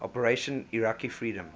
operation iraqi freedom